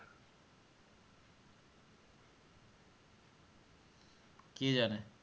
কে জানে